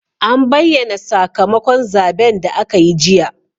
An bayyana sakamakon zaben da aka yi jiya.